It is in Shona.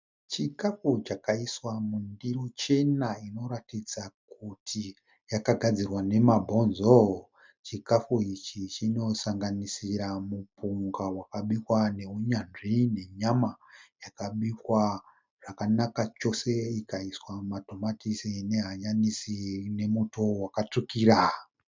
Chikafu chakaiswa mundiro chena inoratidza kuti yakagadzirwa namabhonzoo. Chikafu ichi chinosanganisira mupunga wakabikwa neuyanzvi nenyama yakabikwa zvakanaka chose ikaiswa matomatisi, nehanyanisi nemuto wakatsvukira.